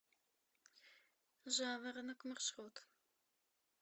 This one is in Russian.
жаворонок маршрут